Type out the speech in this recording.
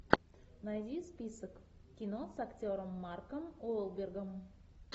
найди список кино с актером марком уолбергом